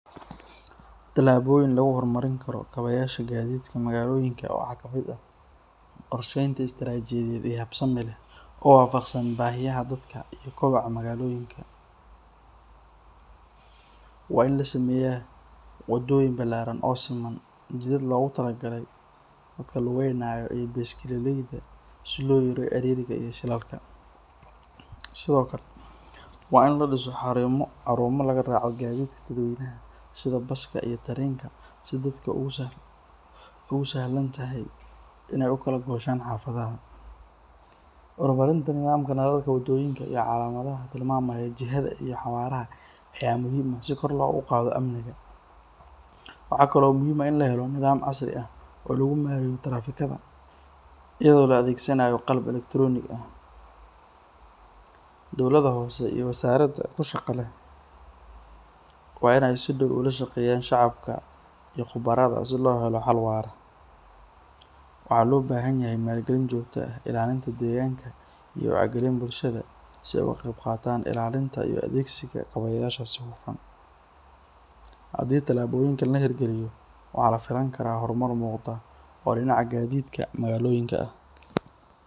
Tilaboyin lagu hor mar karin Karo, waa kobaca magaaloyinka, waa in lasameeyo wada balaaran, si loo yareeyo, waa in lasameeyo xaruumo laga raaco basaska, ugu sahlan tahay xafadaha, calamadaha ayaa muhiim ah, in la helo nidaam casri ah, dowlada hoose waa inaay lashaqeyna shacabka, maal galin jogta ah iyo waxti galin, waxaa lafilaan karaa hor mar muuqda.